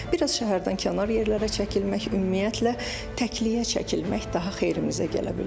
Bir az şəhərdən kənar yerlərə çəkilmək, ümumiyyətlə təkliyə çəkilmək daha xeyrimizə gələ bilər.